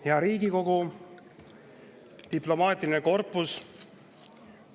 Hea Riigikogu, diplomaatiline korpus!